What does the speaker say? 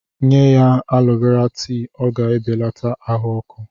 Nye ya alọ Vera tii, ọ ga-ebelata ahụ ọkụ.